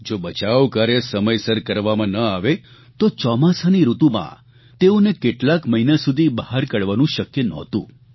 જો બચાવ કાર્ય સમયસર કરવામાં ન આવે તો ચોમાસાની ઋતુમાં તેઓને કેટલાક મહિના સુધી બહાર કાઢવાનું શક્ય નહોતું